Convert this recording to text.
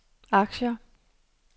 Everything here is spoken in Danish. aktier